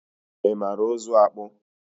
ị mara ụzụ akpụ?